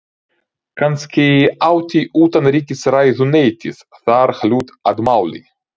Kannski átti utanríkisráðuneytið þar hlut að máli.